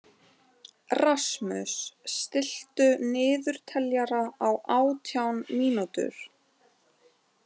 Rasmus, stilltu niðurteljara á átján mínútur.